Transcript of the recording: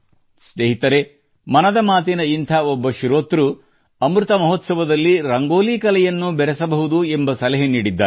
ಸ್ನೇಹಿತರೆ ಮನದ ಮಾತಿನ ಇಂಥ ಒಬ್ಬ ಶ್ರೋತೃ ಅಮೃತ ಮಹೋತ್ಸವದಲ್ಲಿ ರಂಗೋಲಿ ಕಲೆಯನ್ನು ಬೆರೆಸಬಹುದು ಎಂಬ ಸಲಹೆ ನೀಡಿದ್ದಾರೆ